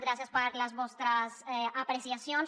gràcies per les vostres apreciacions